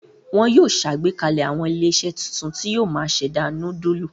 Wọn yóò ṣàgbékalẹ̀ àwọn ilé-iṣẹ́ tuntun tí yóò máa ṣẹ̀dá núdúlù.